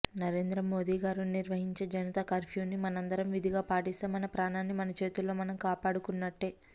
నరేంద్రమోదీ గారు నిర్వహించే జనతా కర్ఫ్యూ ని మనందరం విధిగా పాటిస్తే మన ప్రాణాన్ని మనచేతుల్తో మనం కాపాడుకున్నట్టే